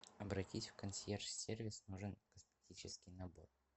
обратись в консьерж сервис нужен косметический набор